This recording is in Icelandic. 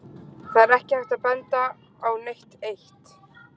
Það er ekki hægt að benda á neitt eitt.